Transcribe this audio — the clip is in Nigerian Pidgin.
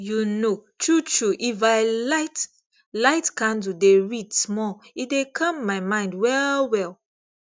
you know truetrue if i light light candle dey read small e dey calm my mind well well